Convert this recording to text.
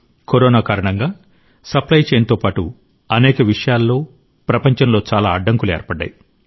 corona కారణంగా supply chain తో పాటు అనేక విషయాల్లో ప్రపంచంలో చాలా అడ్డంకులు ఏర్పడ్డాయి